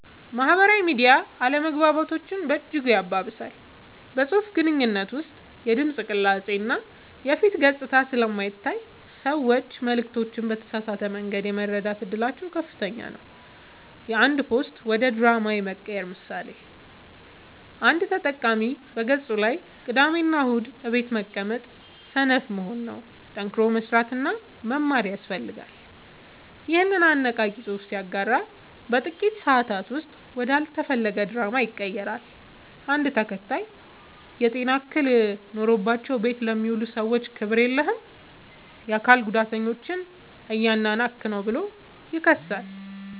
ማህበራዊ ሚዲያ አለመግባባቶችን በእጅጉ ያባብሳል። በፅሁፍ ግንኙነት ውስጥ የድምፅ ቅላፄ እና የፊት ገፅታ ስለማይታይ ሰዎች መልዕክቶችን በተሳሳተ መንገድ የመረዳት እድላቸው ከፍተኛ ነው። የአንድ ፖስት ወደ ድራማ የመቀየር ምሳሌ፦ አንድ ተጠቃሚ በገፁ ላይ "ቅዳሜና እሁድ ቤት መቀመጥ ሰነፍ መሆን ነው፣ ጠንክሮ መስራትና መማር ያስፈልጋል" ይኸንን አነቃቂ ፅሑፍ ሲያጋራ በጥቂት ሰአታት ውስጥ ወደ አልተፈለገ ድራማ ይቀየራል። አንድ ተከታይ "የጤና እክል ኖሮባቸው ቤት ለሚውሉ ሰዎች ክብር የለህም! የአካል ጉዳተኞችን እያናናቅህ ነው ብሎ ይከሳል።